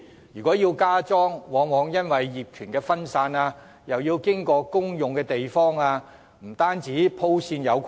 如要加裝，往往面對業權分散及需要經過公用地方等問題，以致很難鋪設電線。